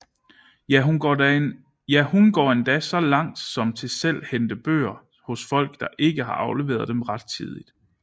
Ja hun går endda så langt som til selv hente bøger hos folk der ikke har afleveret dem rettidigt